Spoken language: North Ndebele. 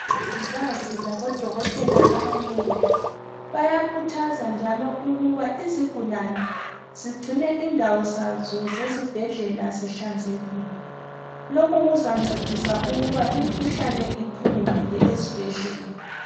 Umongikazi labodokotela abanengi bayakhuthaza njalo ukuba izigulane zigcine izindawo zazo zezibhedlela zihlanzekile. Lokhu kuzancedisa ukuba imikhuhlane iphunguleke ezibhedlela.